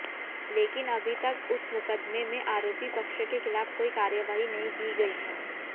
लेकिन अभी तक उस मुकदमे में आरोपी पक्ष के खिलाफ कोई कार्रवाई नहीं की गई